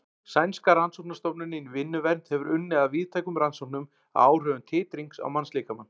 Sænska rannsóknastofnunin í vinnuvernd hefur unnið að víðtækum rannsóknum á áhrifum titrings á mannslíkamann.